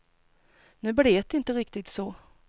Nu blev det inte riktigt så.